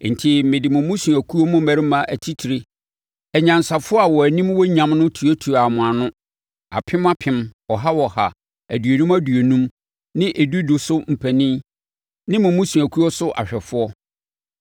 Enti, mede mo mmusuakuo mu mmarima atitire, anyansafoɔ a wɔn anim wɔ nyam no tuatuaa mo ano apem apem, ɔha ɔha, aduonum aduonum ne edu edu so mpanin ne mo mmusuakuo so sɛ ahwɛfoɔ.